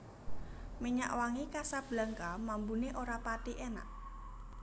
Minyak wangi Casablanca mambune ora pathi enak